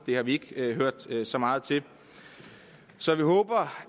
har vi ikke hørt så meget til så vi håber